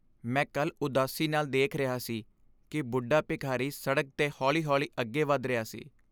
ਮੈਂ ਕੱਲ੍ਹ ਉਦਾਸੀ ਨਾਲ ਦੇਖ ਰਿਹਾ ਸੀ ਕਿ ਬੁੱਢਾ ਭਿਖਾਰੀ ਸੜਕ 'ਤੇ ਹੌਲੀ ਹੌਲੀ ਅੱਗੇ ਵੱਧ ਰਿਹਾ ਸੀ